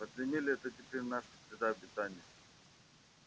подземелье это теперь наша среда обитания